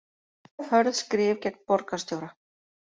Hörð skrif gegn borgarstjóra